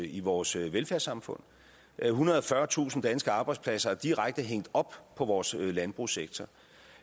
i vores velfærdssamfund ethundrede og fyrretusind danske arbejdspladser er direkte hængt op på vores landbrugssektor